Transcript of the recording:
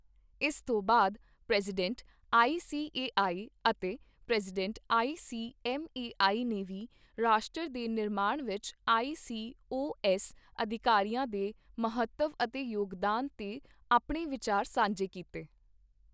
ਇਸ ਤੋਂ ਬਾਅਦ, ਪ੍ਰੈਜ਼ੀਡੈਂਟ, ਆਈਸੀਏਆਈ ਅਤੇ ਪ੍ਰੈਜ਼ੀਡੈਂਟ, ਆਈਸੀਐੱਮਏਆਈ ਨੇ ਵੀ ਰਾਸ਼ਟਰ ਦੇ ਨਿਰਮਾਣ ਵਿੱਚ ਆਈਸੀਓਏਐੱਸ ਅਧਿਕਾਰੀਆਂ ਦੇ ਮਹੱਤਵ ਅਤੇ ਯੋਗਦਾਨ ਤੇ ਆਪਣੇ ਵਿਚਾਰ ਸਾਂਝੇ ਕੀਤੇ।